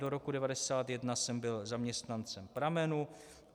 Do roku 1991 jsem byl zaměstnancem Pramenu.